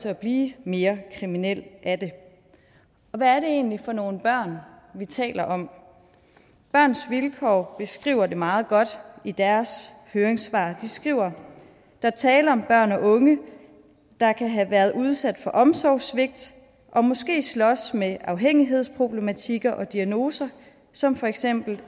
at blive mere kriminel af det hvad er det egentlig for nogle børn vi taler om børns vilkår beskriver det meget godt i deres høringssvar de skriver at der er tale om børn og unge der kan have været udsat for omsorgssvigt og måske slås med afhængighedsproblematikker og diagnoser som for eksempel